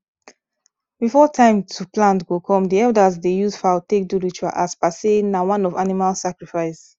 before time to plant go come the elders dey use fowl take do ritual as per say na one of animal sacrifice